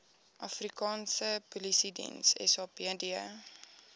afrikaanse polisiediens sapd